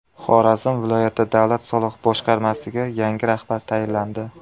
Xorazm viloyati davlat soliq boshqarmasiga yangi rahbar tayinlandi.